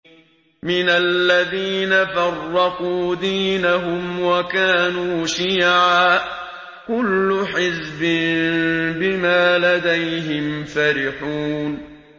مِنَ الَّذِينَ فَرَّقُوا دِينَهُمْ وَكَانُوا شِيَعًا ۖ كُلُّ حِزْبٍ بِمَا لَدَيْهِمْ فَرِحُونَ